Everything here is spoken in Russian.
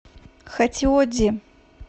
хатиодзи